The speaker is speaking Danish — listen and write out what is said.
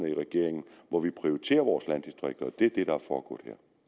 i regeringen hvor vi prioriterer vores landdistrikter og